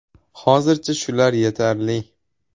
Hozircha shular yetarli.